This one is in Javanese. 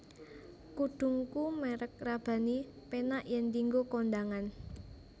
Kudungku merk Rabbani penak yen dinggo kondangan